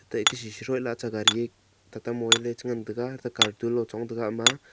ateh ekah shisuih la acha gari ye tata mobile ye che ngantaga te cartoon loye chong taga ama a.